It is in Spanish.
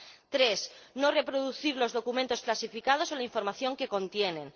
tres, no reproducir los documentos clasificados o la información que contienen.